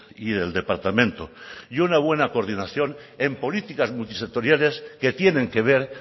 y del departamento y una buena coordinación en políticas multisectoriales que tienen que ver